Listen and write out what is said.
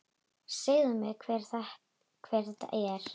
Segðu mér, hver er þetta?